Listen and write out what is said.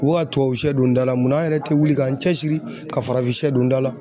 U bi ka tubabusiyɛ don da la munna an yɛrɛ tɛ wuli k'an cɛ siri ka farafinsiyɛ don da la.